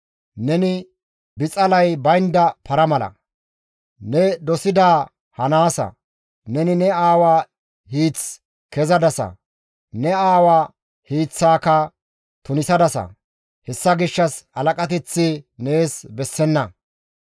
Neni bixalay baynda para mala; ne dosidaa hanaasa; neni ne aawa hiith kezadasa; ne aawa hiiththaaka tunisadasa. Hessa gishshas halaqateththi nees bessenna.